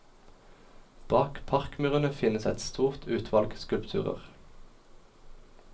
Bak parkmurene finnes et stort utvalg skulpturer.